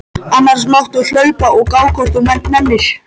Annars máttu hlaupa og gá ef þú nennir.